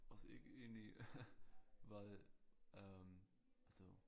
Os ikke ind i hvad øh altså